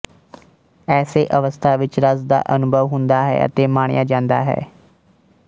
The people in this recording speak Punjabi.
ਏਸੇ ਅਵਸਥਾ ਵਿੱਚ ਰਸ ਦਾ ਅਨੁਭਵ ਹੁੰਦਾ ਹੈ ਅਤੇ ਮਾਣਿਆ ਜਾਂਦਾ ਹੈ